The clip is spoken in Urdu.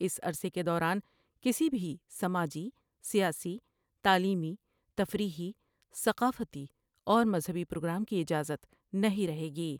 اس عرصے کے دوران کسی بھی سماجی ، سیاسی تعلیمی تفریحی ، ثقافتی اور مذہبی پروگرام کی اجازت نہیں رہے گی ۔